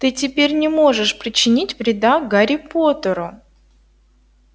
ты теперь не можешь причинить вреда гарри поттеру